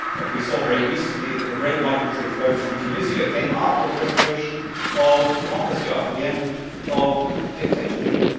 We saw very recently that the great migratory flows from Tunisia came after the restoration of democracy and the end of dictatorship.